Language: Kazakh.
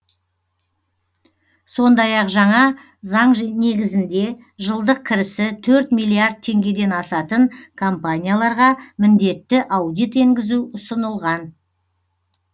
сондай ақ жаңа заң негізінде жылдық кірісі төрт миллиард теңгеден асатын компанияларға міндетті аудит енгізу ұсынылған